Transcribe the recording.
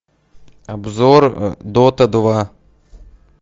обзор дота два